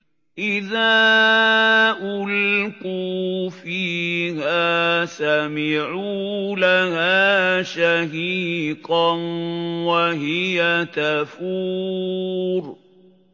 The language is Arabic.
إِذَا أُلْقُوا فِيهَا سَمِعُوا لَهَا شَهِيقًا وَهِيَ تَفُورُ